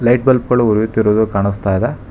Light bulb ಗಳು ಉರಿಯುತ್ತಿರುವುದು ಕಾಣಿಸ್ತಾ ಇದೆ.